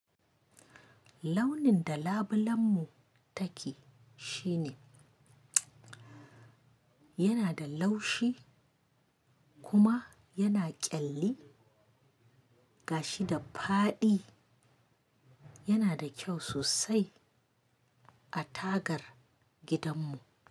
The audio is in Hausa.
Launin da labulen mu take shine yana da laushi kuma yana ƙyalli gashi da fadi. Yana da kyau sosai a tagar gidan mu.